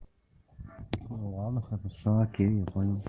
ну ладно хорошо окей я понял